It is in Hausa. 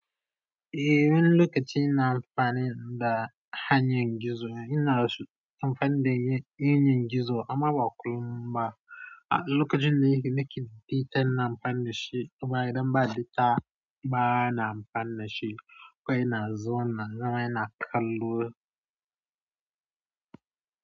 Eh wani lokaci ina amfani da hanyar gizo. Ina amfani da yanar gizo amma ba kullum ba. Lokacin da nake bita ina amfana shi. Amma idan ba data ba na amfani shi. Kwai ina zuwa ina zama ina kallo.